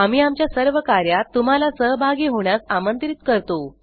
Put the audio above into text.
आम्ही आमच्या सर्व कार्यात तुम्हाला सहभागी होण्यास आमंत्रित करतो